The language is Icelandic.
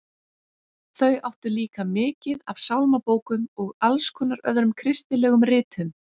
Þau áttu líka mikið af sálmabókum og alls konar öðrum kristilegum ritum.